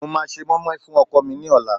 mo ma ṣe moimoi fún ọkọ mi ni ọlá